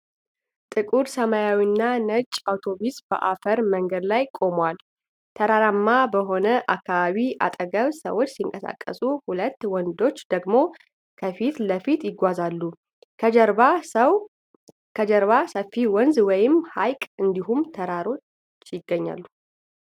ጥቁር ሰማያዊና ነጭ አውቶቡስ በአፈር መንገድ ላይ ቆሟል። ተራራማ በሆነው አካባቢ አጠገቡ ሰዎች ሲንቀሳቀሱ ሁለት ወንዶች ደግሞ ከፊት ለፊት ይጓዛሉ። ከጀርባ ሰፊ ወንዝ ወይም ሐይቅ እንዲሁም ተራሮች ይገኛሉ።